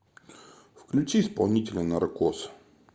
включи исполнителя наркоз